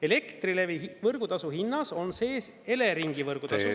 Elektrilevi võrgutasu hinnas on sees Eleringi võrgutasu.